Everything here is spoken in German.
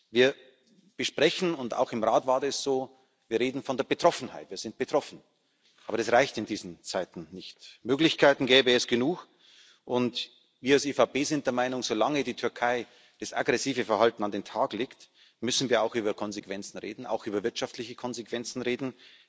Wir sprechen und auch im Rat war das so von Betroffenheit, wir sind betroffen aber das reicht in diesen Zeiten nicht. Möglichkeiten gäbe es genug. Wir als EVP sind der Meinung Solange die Türkei dieses aggressive Verhalten an den Tag legt, müssen wir auch über Konsequenzen, auch über wirtschaftliche Konsequenzen reden.